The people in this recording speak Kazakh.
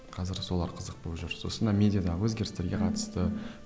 қазір солар қызық болып жүр сосын мына медиадағы өзгерістерге қатысты